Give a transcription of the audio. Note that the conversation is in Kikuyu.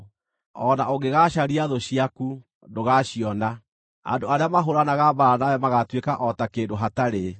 O na ũngĩgaacaria thũ ciaku, ndũgaaciona. Andũ arĩa mahũũranaga mbaara nawe magaatuĩka o ta kĩndũ hatarĩ.